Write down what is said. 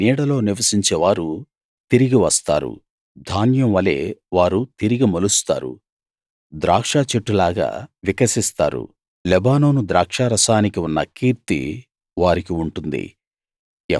అతని నీడలో నివసించేవారు తిరిగి వస్తారు ధాన్యం వలే వారు తిరిగి మొలుస్తారు ద్రాక్షచెట్టులాగా వికసిస్తారు లెబానోను ద్రాక్షరసానికి ఉన్న కీర్తి వారికి ఉంటుంది